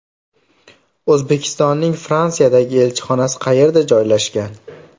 O‘zbekistonning Fransiyadagi elchixonasi qayerda joylashgan?